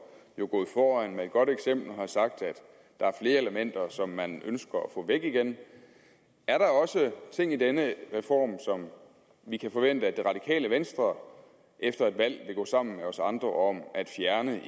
jo gået foran med et godt eksempel og har sagt at der er flere elementer som man ønsker at få væk igen er der også ting i denne reform som vi kan forvente at det radikale venstre efter et valg vil gå sammen med os andre om at fjerne